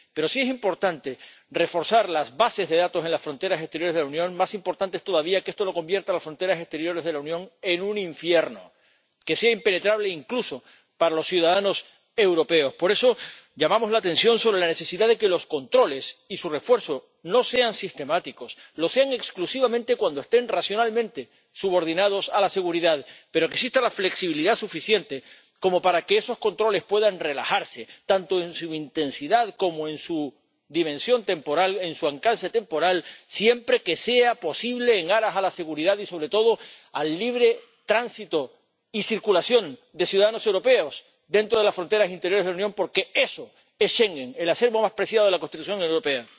pero si es importante reforzar las bases de datos en las fronteras exteriores de la Unión, más importante es todavía que esto no convierta las fronteras exteriores de la Unión en un infierno que sea impenetrable, incluso, para los ciudadanos europeos. Por eso llamamos la atención sobre la necesidad de que los controles y su refuerzo no sean sistemáticos, sino que lo sean exclusivamente cuando estén racionalmente subordinados a la seguridad, y exista la flexibilidad suficiente como para que esos controles puedan relajarse tanto en su intensidad como en su dimensión temporal, en su alcance temporal, siempre que sea posible atendiendo a la seguridad y, sobre todo, en aras del libre tránsito y circulación de los ciudadanos europeos dentro de las fronteras interiores de la Unión, porque eso es Schengen, el acervo más preciado de la construcción europea.